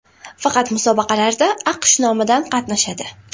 Faqat musobaqalarda AQSh nomidan qatnashadi.